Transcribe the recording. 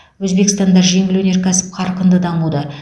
өзбекстанда жеңіл өнеркәсіп қарқынды дамуда